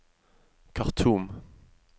Khartoum